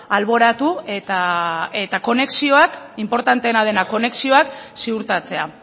alboratu eta konexioak inportanteena dena konexioak ziurtatzea